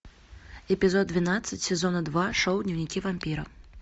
эпизод двенадцать сезона два шоу дневники вампира